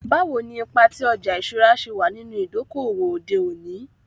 Bawo ni ipa ti ọja iṣura ṣe wa ninu idoko-owo ode oni?